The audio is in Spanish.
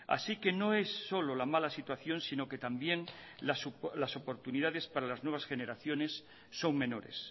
así que no es solo la mala situación sino que también las oportunidades para las nuevas generaciones son menores